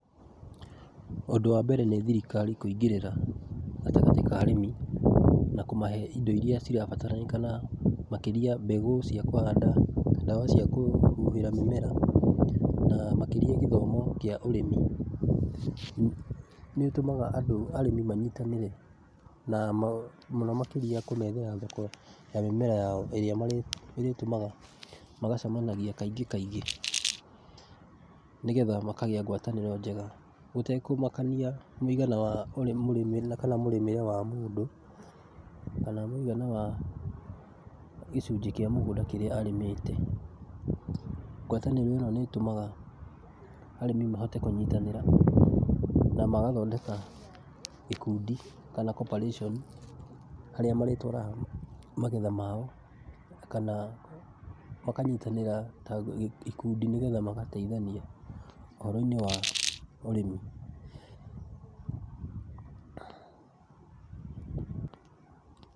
Ũndũ wa mbere nĩ thirikari kũingĩrĩra gatagatĩ ka arĩmi na kũmahe indo irĩa cirabataranĩka na makĩria mbegũ cia kũhanda, ndawa cia kũhuhĩra mĩmera na makĩrĩa gĩthomo kĩa ũrĩmi. Nĩ ũtũmaga arĩmi andũ manyitanĩre na mũno makĩria kũmethera thoko ya mĩmera yao ĩrĩa ĩrĩtũmaga magacemanagia kaingĩ kaingĩ nĩgetha makagĩa ngwatanĩro njega, gũtekũmakania mũigana wa kana mũrĩmĩre wa mũndũ kana mũigana wa gĩcunjĩ kĩa mũgũnda kĩrĩa arĩmĩte. Ngwatanĩro ĩno nĩ ĩtũmaga arĩmi mahote kũnyitanĩra na magathondeka ikundi kana cs] cooperation harĩa marĩtwaraga magetha mao kana makanyitanĩra ta ikundi nĩgetha magateithania ũhoro-inĩ wa ũrĩmi.